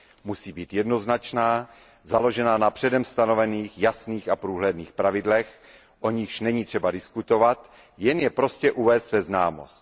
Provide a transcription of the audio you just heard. Musí být jednoznačná, založená na předem stanovených jasných a průhledných pravidlech, o nichž není třeba diskutovat, jen je prostě uvést ve známost.